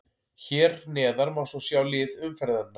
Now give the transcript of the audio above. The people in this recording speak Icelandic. Hér neðar má svo sjá lið umferðarinnar.